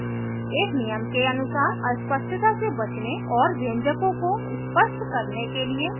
एक नियम के अनुसार अस्पष्टता से बचने और व्यंजकों को स्पष्ट करने के लिए कोष्ठकों का प्रयोग करें